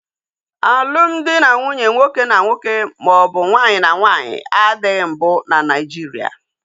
Alumdị na nwunye nwoke na nwoke maọbụ nwaanyị na nwaanyị adịghị mbụ na Naijiria